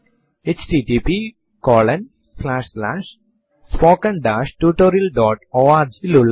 prompt ൽ date space plus percentage sign നിനൊപ്പo small h എന്ന് ടൈപ്പ് ചെയ്തു എന്റർ അമർത്തുക